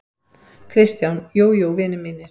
KRISTJÁN: Jú, jú, vinir mínir!